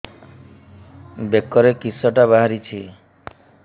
ବେକରେ କିଶଟା ବାହାରିଛି